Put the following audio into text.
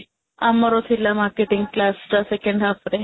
ଆମର ଥିଲା marketing class ଟା second half ରେ